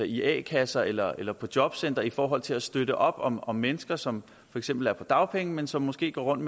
i a kasser eller eller på jobcentrene i forhold til at støtte op om om mennesker som for eksempel er på dagpenge men som måske går rundt